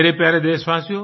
मेरे प्यारे देशवासियो